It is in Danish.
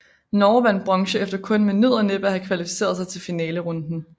Norge vandt bronze efter kun med nød og næppe at have kvalificeret sig til finalerunden